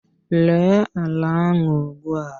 Ree ala ahụ ugbua!